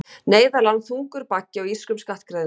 Neyðarlán þungur baggi á írskum skattgreiðendum